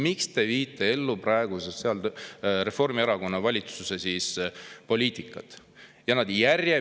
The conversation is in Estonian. Miks te viite ellu praeguse Reformierakonna valitsuse poliitikat?